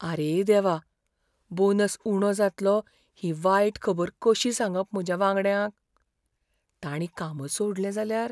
आरे देवा! बोनस उणो जातलो ही वायट खबर कशीं सांगप म्हज्या वांगड्यांक? तांणी कामच सोडलें जाल्यार?